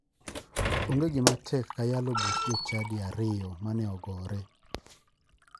Onge gima tek ka yalo buch jochadi ariyo ma ne ogore.